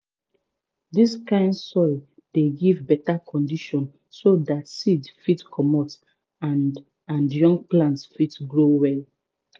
dis kind soil dey give beta condition so dat seed fit comot and and young plants fit grow well